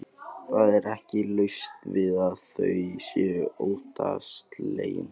Það er ekki laust við að þau séu óttaslegin.